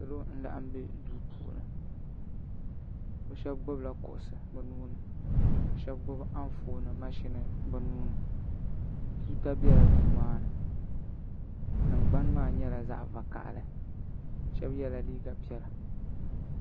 salo n laɣam bɛ duu puuni bi shab gbubila kuɣusi bi nuuni ka shab gbubi Anfooni mashini bi nuuni tuuta biɛla duu maa ni tingbani maa nyɛla zaɣ vakaɣali shab yɛla liiga piɛla